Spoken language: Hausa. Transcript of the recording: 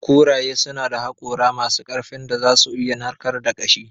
Kuraye suna da hakora masu ƙarfin da za su iya narkar da ƙashi.